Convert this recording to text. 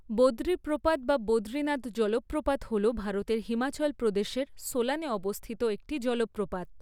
বদ্রী প্রপাত বা বদ্রীনাথ জলপ্রপাত হল ভারতের হিমাচল প্রদেশের সোলানে অবস্থিত একটি জলপ্রপাত।